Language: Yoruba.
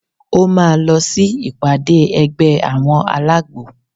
Ó má lọ sí ìpàdé ẹgbẹ́ àwọn alágbo.